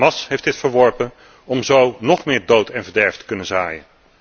Hamas heeft dit verworpen om zo nog meer dood en verderf te kunnen zaaien.